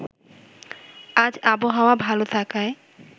আজ আবহাওয়া ভালো থাকায়